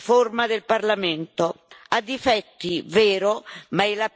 ha difetti, è vero, ma è la più avanzata possibile.